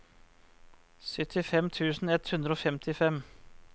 syttifem tusen ett hundre og femtifem